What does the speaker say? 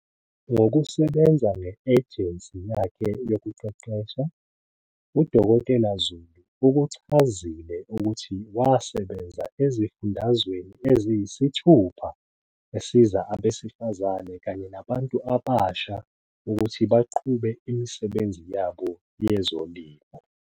Ngokusebenza nge-ejensi yakhe yokuqeqesha, u-Dkt Zulu ukuchazile ukuthi wasebenza ezifundazweni eziyisithupha, esiza abesifazane kanye nabantu abasha ukuthi baqhube imisebenzi yabo yezolimo.